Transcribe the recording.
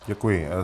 Děkuji.